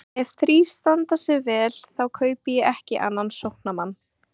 Ef þeir þrír standa sig vel þá kaupi ég ekki annan sóknarmann.